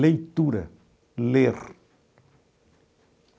Leitura, ler.